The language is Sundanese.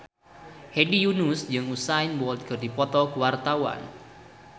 Hedi Yunus jeung Usain Bolt keur dipoto ku wartawan